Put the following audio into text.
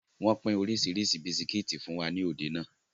Wọn pin oríṣiríṣi bisikítì fún wa nibi òde náà.